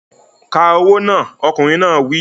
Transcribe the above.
Ka owó náà! Ọkùnrin náà wí.